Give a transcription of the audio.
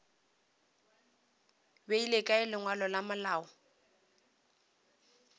beile kae lengwalo la malao